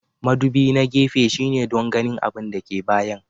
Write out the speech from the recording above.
Mudubi na gefe shine don ganin abin da ke bayan.